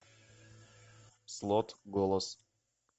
слот голос